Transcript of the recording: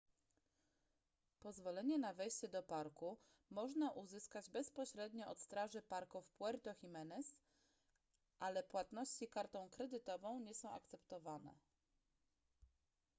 pozwolenie na wejście do parku można uzyskać bezpośrednio od straży parku w puerto jimenez ale płatności kartą kredytową nie są akceptowane